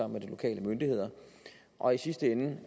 med de lokale myndigheder og i sidste ende